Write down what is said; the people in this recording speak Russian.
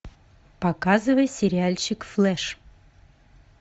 показывай сериальчик флэш